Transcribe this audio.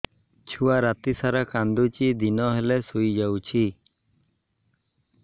ଛୁଆ ରାତି ସାରା କାନ୍ଦୁଚି ଦିନ ହେଲେ ଶୁଇଯାଉଛି